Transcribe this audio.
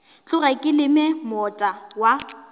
tloge ke leme moota wa